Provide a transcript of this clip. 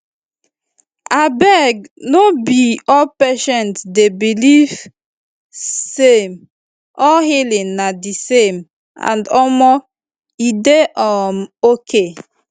abeg no be all patient dey believe same all healing na di same and omo e dey um okay